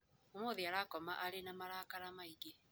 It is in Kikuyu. Ũmũthĩ arakoma arĩ na marakara maingĩ.